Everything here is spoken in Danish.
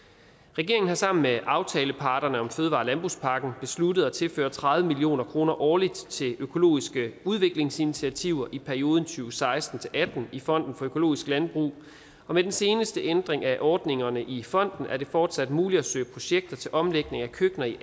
regeringen har sammen med aftaleparterne om fødevare og landbrugspakken besluttet at tilføre tredive million kroner årligt til økologiske udviklingsinitiativer i perioden to seksten til atten i fonden for økologisk landbrug og med den seneste ændring af ordningerne i fonden er det fortsat muligt at søge projekter til omlægning af køkkener i